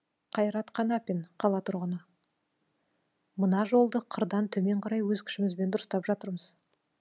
қайрат қанапин қала тұрғыны мына жолды қырдан төмен қарай өз күшімізбен дұрыстап жатырмыз